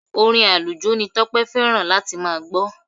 Orin àlùjó ni Tọ́pẹ́ fẹ́ràn láti máa gbọ́.